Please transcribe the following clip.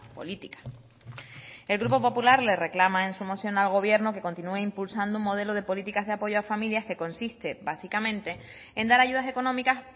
política el grupo popular le reclama en su moción al gobierno que continúe impulsado un modelo de políticas de apoyo a familias que consiste básicamente en dar ayudas económicas